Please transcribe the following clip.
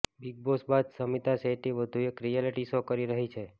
big Boss બાદ શમિતા શેટ્ટી વધુ એક રિયાલીટી શો કરી રહી છે